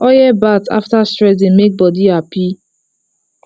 oil bath after stress dey make body happy